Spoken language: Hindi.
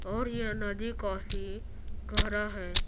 और यह नदी काफी गहरा है।